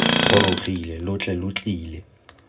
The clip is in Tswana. gorogile lo tle lo tlile